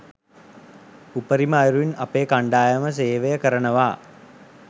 උපරිම අයුරින් අපේ කණ්ඩායම සේවය කරනවා